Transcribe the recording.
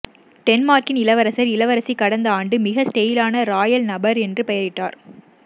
டென்மார்க்கின் இளவரசர் இளவரசி கடந்த ஆண்டு மிக ஸ்டைலான ராயல் நபர் என்று பெயரிட்டார்